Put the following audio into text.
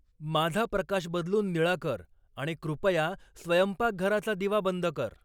माझा प्रकाश बदलून निळा कर आणि कृपया स्वयंपाकघराचा दिवा बंद कर